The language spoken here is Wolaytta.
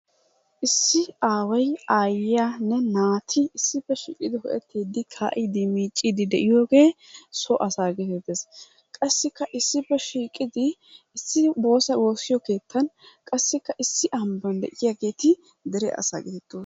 Issi aaway, aayiyanne naati issippe shiiqqidi ufayttiidi kaa'iidi miicciidi de'iyogee so asaa gettettees. Qassikka issippe shiiqqidi issi bosa woossiyo keettan qassikka issi ambban de'iyageeti dere asaa gettettoo..